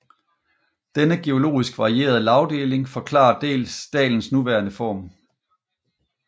Denne geologisk varierede lagdeling forklarer dalens nuværende form